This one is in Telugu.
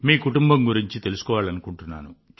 మీ కుటుంబం గురించి తెలుసుకోవాలనుకుంటున్నాను